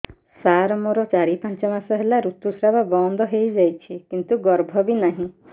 ସାର ମୋର ଚାରି ପାଞ୍ଚ ମାସ ହେଲା ଋତୁସ୍ରାବ ବନ୍ଦ ହେଇଯାଇଛି କିନ୍ତୁ ଗର୍ଭ ବି ନାହିଁ